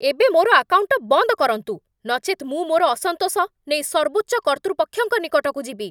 ଏବେ ମୋର ଆକାଉଣ୍ଟ ବନ୍ଦ କରନ୍ତୁ, ନଚେତ୍ ମୁଁ ମୋର ଅସନ୍ତୋଷ ନେଇ ସର୍ବୋଚ୍ଚ କର୍ତ୍ତୃପକ୍ଷଙ୍କ ନିକଟକୁ ଯିବି।